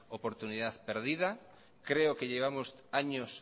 oportunidad perdida creo que llevamos años